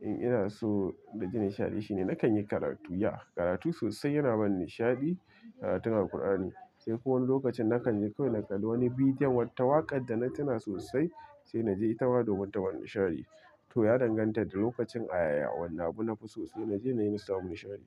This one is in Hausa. in ina so na ji nishaɗi shine na kan yi karatu. Ya karatu sosai yana bani nishaɗi, karatun Alqur'ani. Sai ko wani lokacin na kan je kai na kalli wani bidiyon, wata waƙar da tuna sosai sai na je ita ma domin ta bani nishaɗi. To ya danganta da lokacin a ya'ya wane abu na fi so sai na je na yi na samu nishaɗi.